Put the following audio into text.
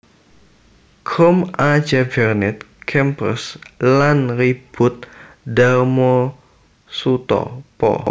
Krom A J Bernet Kempers lan Riboet Darmosoetopo